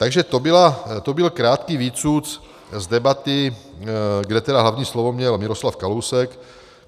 Takže to byl krátký výcuc z debaty, kde tedy hlavní slovo měl Miroslav Kalousek.